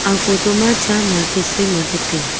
a photo ma cha market soi market tai a.